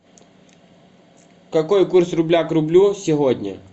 какой курс рубля к рублю сегодня